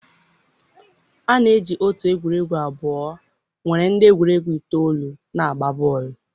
a na-eji otu egwuregwu abụọ nwere ndị egwuregwu itoolu na-agba bọọlụ.